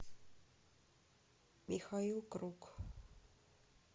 михаил круг